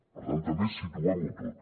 per tant també situem ho tot